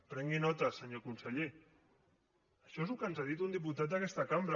prengui’n nota senyor conseller això és el que ens ha dit un diputat d’aquesta cambra